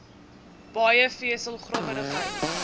baie vesel growwerigheid